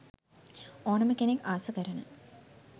ඕනම කෙනෙක් ආස කරන